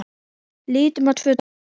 Lítum á tvö dæmi.